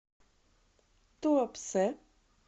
туапсе